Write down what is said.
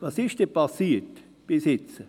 Was ist nun bisher geschehen?